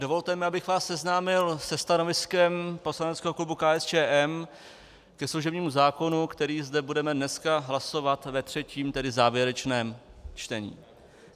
Dovolte mi, abych vás seznámil se stanoviskem poslaneckého klubu KSČM ke služebnímu zákonu, který zde budeme dneska hlasovat ve třetím, tedy závěrečném čtení.